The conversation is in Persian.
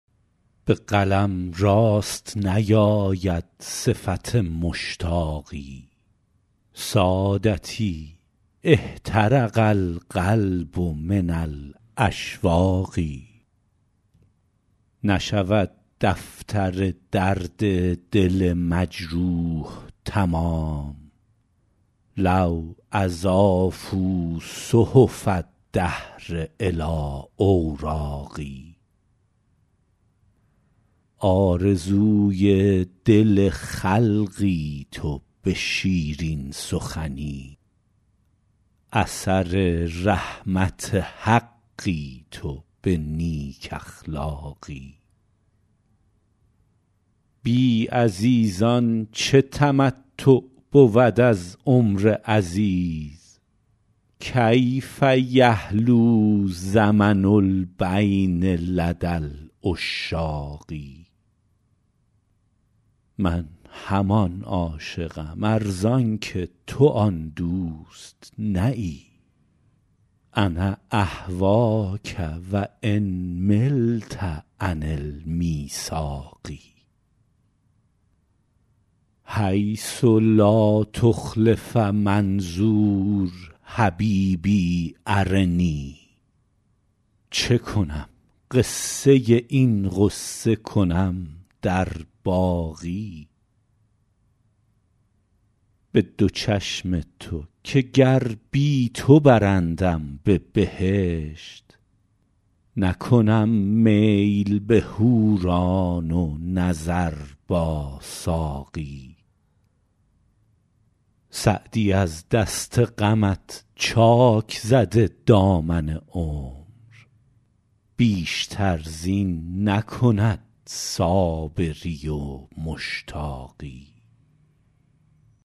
به قلم راست نیاید صفت مشتاقی سادتی احترق القلب من الاشواق نشود دفتر درد دل مجروح تمام لو اضافوا صحف الدهر الی اوراقی آرزوی دل خلقی تو به شیرین سخنی اثر رحمت حقی تو به نیک اخلاقی بی عزیزان چه تمتع بود از عمر عزیز کیف یحلو زمن البین لدی العشاق من همان عاشقم ار زان که تو آن دوست نه ای انا اهواک و ان ملت عن المیثاق حیث لا تخلف منظور حبیبی ارنی چه کنم قصه این غصه کنم در باقی به دو چشم تو که گر بی تو برندم به بهشت نکنم میل به حوران و نظر با ساقی سعدی از دست غمت چاک زده دامن عمر بیشتر زین نکند صابری و مشتاقی